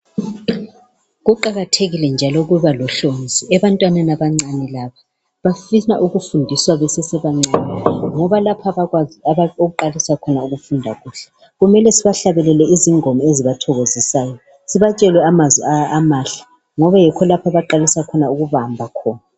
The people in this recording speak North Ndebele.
kuqakathekile njalo ukuba lohlonzi ebantwaneni abancane laba bafisa ukufundiswa besesebancane ngoba lapha abakwazi ukuqalisa ukufunda kuhle kumele sibahlabelele izingoma ezibathokozisayo sibatshele amazwi amahle okuyikho lapho abaqalisa ukubamba khona